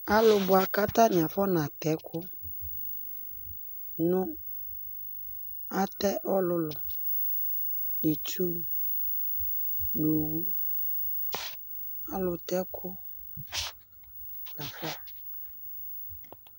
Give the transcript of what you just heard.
ɑlubuaku ɑtaniafɔnatekunu ɑte ɔlulu nitsu nu ɔluteku